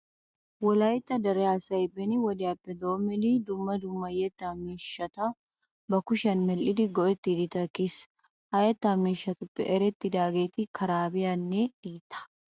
Wolaytta dere asay beni wodiyappe doommidi dumma dumma yettaa miishshat ba kushiyan medhdhidi go"ettiiddi takkiis. Ha yettaa miishshatuppe erettidaageeti karaabiyanne diittaa.